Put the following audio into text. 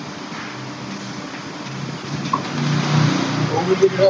ਓ Bajinder.